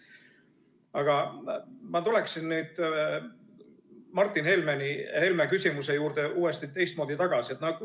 Aga ma tulen nüüd Martin Helme küsimuse juurde uuesti ja teistmoodi tagasi.